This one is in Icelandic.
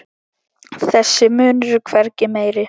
Þessi munur er hvergi meiri.